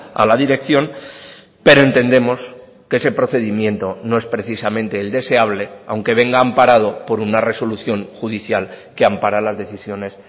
a la dirección pero entendemos que ese procedimiento no es precisamente el deseable aunque venga amparado por una resolución judicial que ampara las decisiones